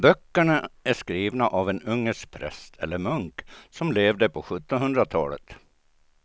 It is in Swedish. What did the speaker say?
Böckerna är skrivna av en ungersk präst eller munk som levde på sjuttonhundratalet.